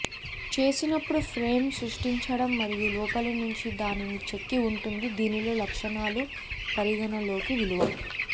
చేసినప్పుడు ఫ్రేమ్ సృష్టించడం మరియు లోపలి నుంచి దానిని చెక్కి ఉంటుంది దీనిలో లక్షణాలు పరిగణలోకి విలువ